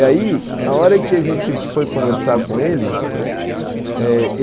E aí, a hora que a gente foi conversar com ele, né? é...